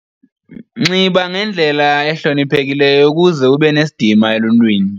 Nxiba ngendlela ehloniphekileyo ukuze ube nesidima eluntwini.